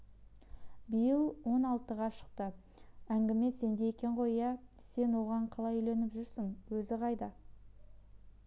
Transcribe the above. биыл он алтыға шықты әңгіме сенде екен ғой иә сен оған қалай үйленіп жүрсің өзі қайда